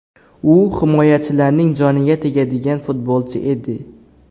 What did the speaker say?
U himoyachilarning joniga tegadigan futbolchi edi.